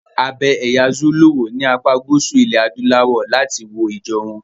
A bẹ ẹ̀ya Zulu wò ní apá gúúsù ilẹ̀ adúláwọ̀ láti wo ijó wọn.